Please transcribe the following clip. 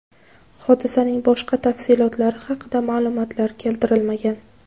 Hodisaning boshqa tafsilotlari haqida ma’lumotlar keltirilmagan.